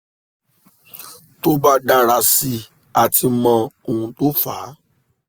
tó bá dára sí i a ti mọ ohun tó fa á